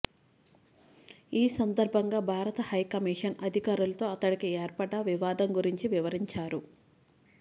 ఈ సందర్భంగా భారత హైకమీషన్ అధికారులతో అతడికి ఏర్పడ్డ వివాదం గురించి వివరించారు